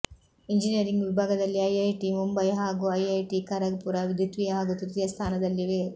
engineering ವಿಭಾಗದಲ್ಲಿ IIT Mumbai ಹಾಗೂ IIT Kharagpur ದ್ವಿತೀಯ ಹಾಗೂ ತೃತೀಯ ಸ್ಥಾನದಲ್ಲಿವೆ